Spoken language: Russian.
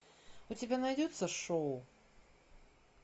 у тебя найдется шоу